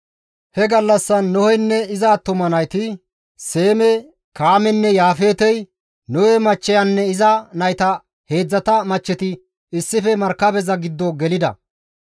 He gallassan Noheynne iza attuma nayti, Seemey, Kaameynne Yaafeetey, Nohe machcheyanne iza nayta heedzdzata machcheti issife markabeza giddo gelida.